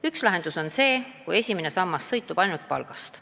Üks võimalus on, et esimene sammas sõltub ainult palgast.